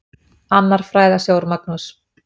Annar fræðasjór, Magnús